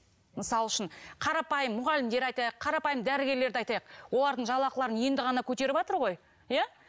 мысал үшін қарапайым мұғалімдер айтайық қарапайым дәрігерлерді айтайық олардың жалақыларын енді ғана көтеріватыр ғой иә